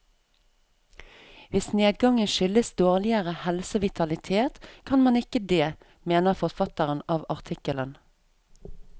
Hvis nedgangen skyldes dårligere helse og vitalitet, kan man ikke det, mener forfatterne av artikkelen.